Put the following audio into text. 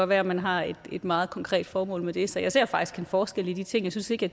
være at man har et meget konkret formål med det så jeg ser faktisk en forskel i de ting jeg synes ikke